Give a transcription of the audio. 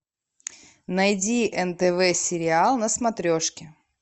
найди нтв сериал на смотрешке